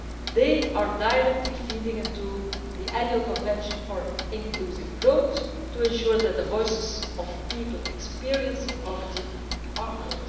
They feed directly into the Annual Convention for Inclusive Growth to ensure that the voices of people experiencing poverty are heard.